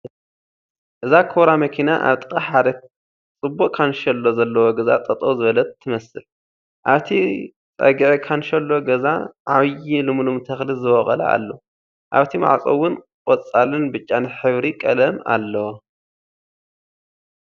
እዛ ኮብራ መኪና ኣብ ጥቓሓደ ፅቡቕ ካልሸሎ ዘለዎ ገዛ ጠጠው ዝበለት ትመስል ኣብቲ ፀግዒ ካንሸሎ ገዛ ዐብይ ልሙልም ተኽሉ ዝቦቖለ ኣሎ ኣብቲ ማዕፆ'ውን ቖፃልን ብጫን ሕብሪ ቐለም ኣሎ ።